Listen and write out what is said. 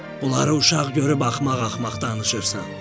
Uşaq görüb axmaq-axmaq danışırsan.